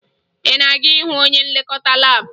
Ị na-aga ịhụ onye nlekọta laabụ?